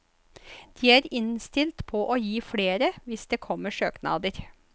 De er innstilt på å gi flere, hvis det kommer søknader.